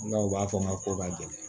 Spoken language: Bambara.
N'a u b'a fɔ ma ko ka gɛlɛn